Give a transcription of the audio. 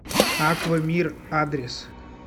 аква мир адрес